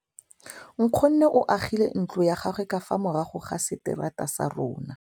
Nkgonne o agile ntlo ya gagwe ka fa morago ga seterata sa rona.